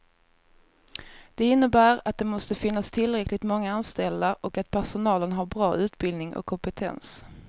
Det innebär att det måste finnas tillräckligt många anställda och att personalen har bra utbildning och kompetens.